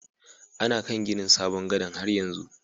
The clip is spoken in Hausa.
Ana kan ginin sabon gadan' har yanzu.